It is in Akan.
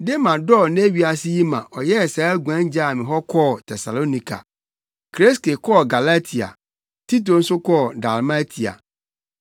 Dema dɔɔ nnɛ wiase yi ma ɔyɛɛ saa guan gyaa me hɔ kɔɔ Tesalonika. Kreske kɔɔ Galatia, Tito nso kɔɔ Dalmatia.